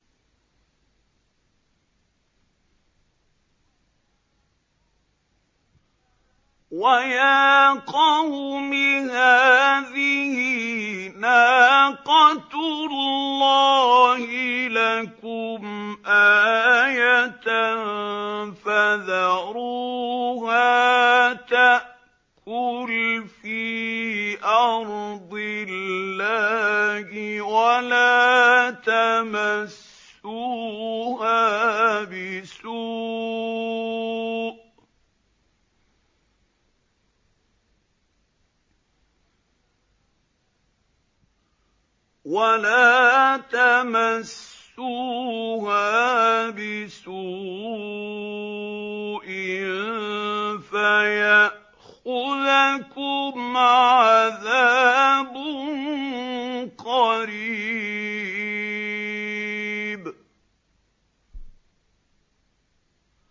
وَيَا قَوْمِ هَٰذِهِ نَاقَةُ اللَّهِ لَكُمْ آيَةً فَذَرُوهَا تَأْكُلْ فِي أَرْضِ اللَّهِ وَلَا تَمَسُّوهَا بِسُوءٍ فَيَأْخُذَكُمْ عَذَابٌ قَرِيبٌ